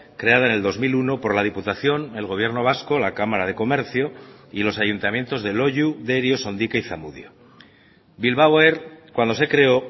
creada en el dos mil uno por la diputación el gobierno vasco la cámara de comercio y los ayuntamientos de loiu derio sondica y zamudio bilbao air cuando se creó